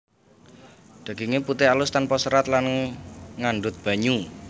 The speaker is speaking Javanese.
Daginge putih alus tanpa serat lan ngandhut banyu